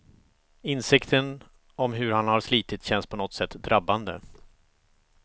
Insikten om hur han har slitit känns på något sätt drabbande.